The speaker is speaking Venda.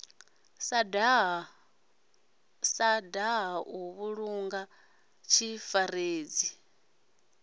sa daha u vhulunga zwifaredzi